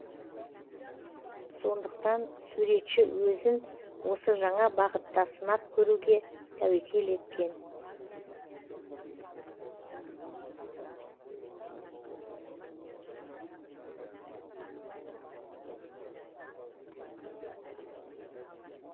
сондықтан суретші өзін осы жаңа бағытта сынап көруге тәуекел еткен